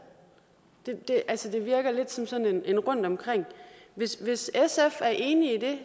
altså det virker lidt som sådan en rundtomkring hvis hvis sf er enig i det